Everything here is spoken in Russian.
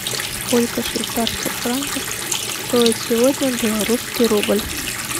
сколько швейцарских франков стоит сегодня белорусский рубль